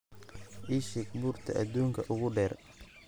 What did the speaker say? ii sheeg buurta aduunka ugu dheer